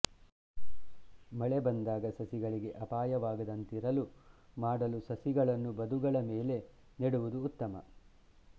ಮಳೆ ಬಂದಾಗ ಸಸಿಗಳಿಗೆ ಅಪಾಯವಾಗದಂತಿರಲು ಮಾಡಲು ಸಸಿಗಳನ್ನು ಬದುಗಳ ಮೇಲೆ ನೆಡುವುದು ಉತ್ತಮ